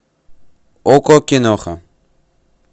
окко киноха